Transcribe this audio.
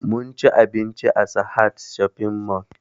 Munci abinci a sahad shopping mall